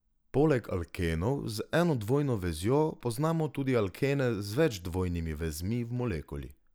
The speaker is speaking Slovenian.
Poleg alkenov z eno dvojno vezjo poznamo tudi alkene z več dvojnimi vezmi v molekuli.